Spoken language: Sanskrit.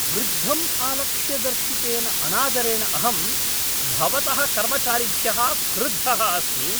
वृद्धम् आलक्ष्य दर्शितेन अनादरेण अहं भवतः कर्मचारिभ्यः क्रुद्धः अस्मि।